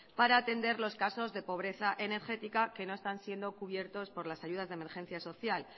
para atender los casos de pobreza energética que no están siendo cubiertos por las ayudas de emergencia social